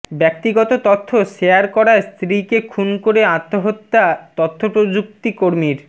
ব্যক্তিগত তথ্য শেয়ার করায় স্ত্রীকে খুন করে আত্মহত্যা তথ্যপ্রযুক্তি কর্মীর